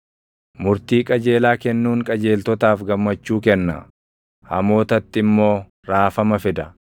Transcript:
Murtii qajeelaa kennuun qajeeltotaaf gammachuu kenna; hamootatti immoo raafama fida.